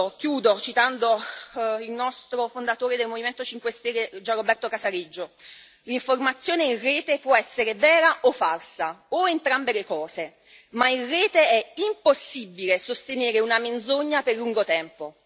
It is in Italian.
Chiudo citando il nostro fondatore del Movimento 5 Stelle Gianroberto Casaleggio L'informazione in rete può essere vera o falsa, o entrambe le cose, ma in rete è impossibile sostenere una menzogna per lungo tempo.